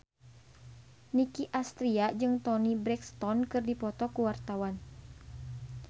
Nicky Astria jeung Toni Brexton keur dipoto ku wartawan